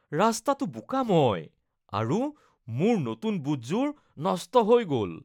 ৰাস্তাটো বোকাময় আৰু মোৰ নতুন বুটযোৰ নষ্ট হৈ গ'ল।